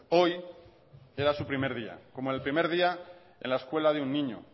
hoy era su primer día como el primer día en la escuela de un niño